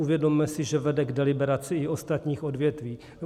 Uvědomme si, že vede k deliberaci i ostatních odvětví.